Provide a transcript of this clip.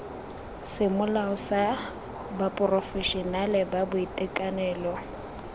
semolao tsa baporofešenale ba boitekanelo